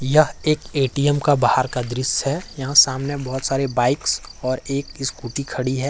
ये एक ए_टी_एम का बाहर का दृश्य है यहां सामने बहुत सारा बाइक्स और एक स्कूटी खड़ी है।